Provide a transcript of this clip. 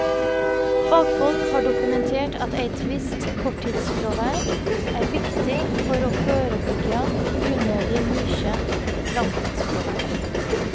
Fagfolk har dokumentert at eit visst korttidsfråver er viktig for å førebyggja unødig mykje langtidsfråver.